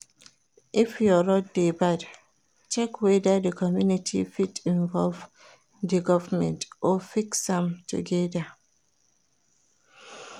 If your road de bad check whether di community fit involve di government or fix am together